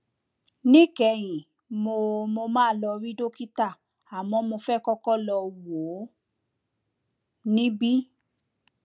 níkẹyìn mo mo máa lọ rí dókítà àmọ mo fẹ kọkọ lọ wò ó níbí